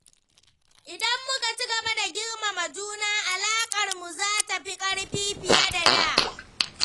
Idan muka ci gaba da girmama juna, alaƙarmu za ta yi ƙarfi fiye da da.